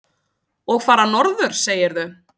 Og fara norður, segirðu?